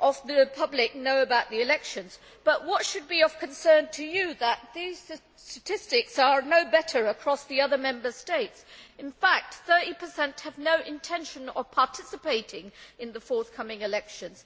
of the public know about the elections, but what should be of concern to you is that these statistics are no better across the other Member States. In fact, 30 have no intention of participating in the forthcoming elections.